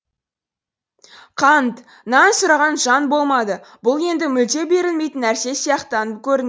қант нан сұраған жан болмады бұл енді мүлде берілмейтін нәрсе сияқтанып көрінді